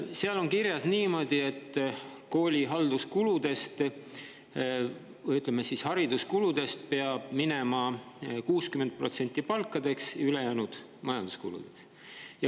Seal on kirjas niimoodi, et kooli halduskuludest või, ütleme, hariduskuludest peab minema 60% palkadeks, ülejäänud majanduskuludeks.